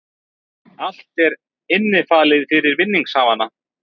Allt er innifalið fyrir vinningshafana